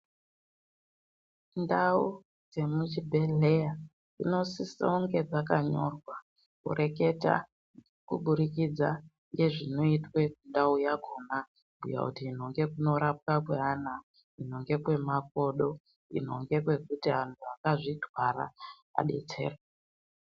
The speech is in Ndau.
Ndau dzemuzvibhedhlera dzinosisawo kunge zvakanyorwa kureketa kuburikidza nezvinoitwa ndau yakona kuti kunorapwa kwevana kwemakodo ino ndekwekuti anhu akazvitwara azvidetsere.